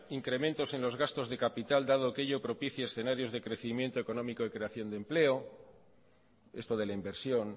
incrementos en los gastos de capital dado que ello propicia escenarios de crecimiento económico y ceración de empleo esto de la inversión